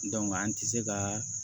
an ti se ka